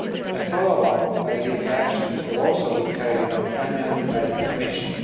A follow up to these actions will also be carried out annually by the Commission.